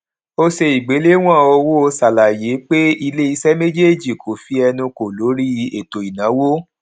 ò ṣe ìgbéléwòn owó ṣàlàyé pé ilé iṣé méjèèjì kó fí ẹnu kò lórí ètò ìnáwó